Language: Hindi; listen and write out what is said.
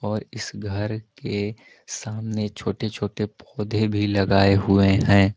और इस घर के सामने छोटे छोटे पौधे भी लगाए हुए हैं।